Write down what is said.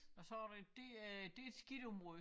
Og så der det et skidt område